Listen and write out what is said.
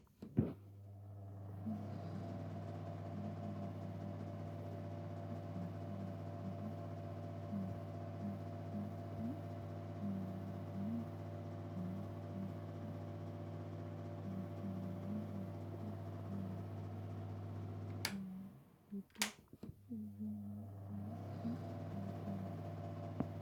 Tenne misilenni la'nanniri woy leellannori maattiya noori amadde yinummoro leemichchotte minnoonni mine lame anfuulle mitte qoqowaminnori giddo woreenna nootti leelittanno